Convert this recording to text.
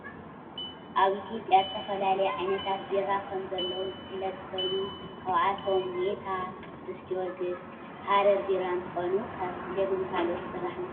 ኣብ ኢትዮጵያ ዝተፈላለዩ ዓይነታት ቢራ ከምዘለው ዝፍለጥ ኮይኑ፣ ካብኣቶም ሜታ፣ ቅዱስ ጊዮርጊስ፣ ሓረር ቢራ እንትኮኑ ካብ ስገምን ካልኦትን ዝስራሕ ምኳኑ ትፈልጡ ዶ?